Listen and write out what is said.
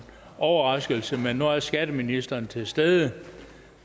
overraskelse men nu er skatteministeren til stede og